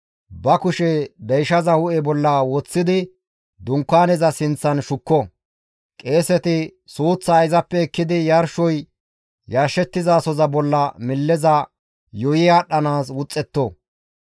ba kushe deyshaza hu7e bolla woththidi Dunkaaneza sinththan shukko; qeeseti suuththaa izappe ekkidi yarshoy yarshettizasoza bolla milleza yuuyi aadhdhanaas wuxxetto.